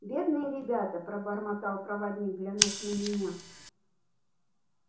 бедные ребята пробормотал проводник глянув на меня